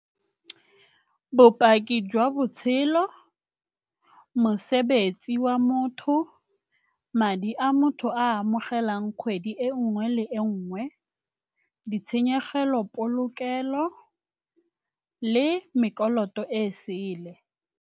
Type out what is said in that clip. Bopaki jwa botshelo, mosebetsi wa motho, madi a motho a amogelang kgwedi e nngwe le e nngwe, ditshenyegelo polokelo le e sele.